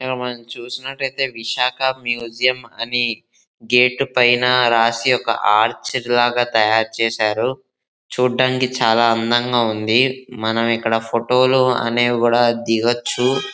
ఇక చూసినట్టయితే విశాఖ మ్యూజియం అని గేటు పైన రాసి ఒక హార్చి లాగా తయారు చేశారు చూడటానికి చాలా అందంగా ఉంది మనం ఇక్కడ ఫోటోల అనేవి కూడా దిగొచ్చు.